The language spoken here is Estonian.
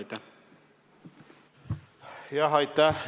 Aitäh!